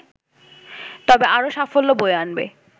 তবে আরও সাফল্য বয়ে আনবে